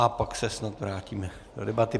A pak se snad vrátíme do debaty.